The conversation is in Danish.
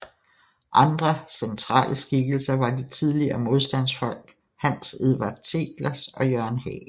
Andre centrale skikkelser var de tidligere modstandsfolk Hans Edvard Teglers og Jørgen Hagel